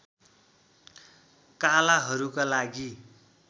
कालाहरुका लागि